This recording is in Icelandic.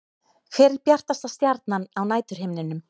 Hver er bjartasta stjarnan á næturhimninum?